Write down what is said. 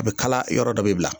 A bɛ kala yɔrɔ dɔ bɛ bila